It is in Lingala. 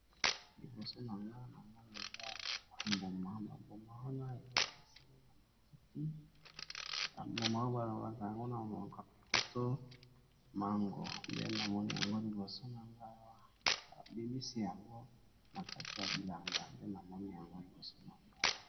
Liboso nanga namoni eza mwa mbuma ba mbuma oyo ba lobaka yango na monoko ya lopoto mango pe namoni yango liboso na nga ba bimisi yango na kati ya bilanga pe na moni yango liboso na ngai.